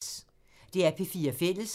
DR P4 Fælles